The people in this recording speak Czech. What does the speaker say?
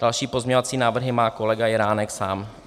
Další pozměňovací návrhy má kolega Jiránek sám.